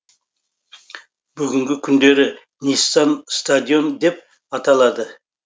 бүгінгі күндері ниссан стадионы деп аталады